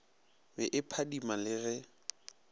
be e phadima le ge